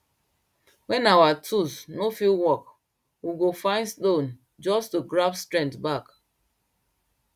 when our tools no fit work we go find stone just to grab strength back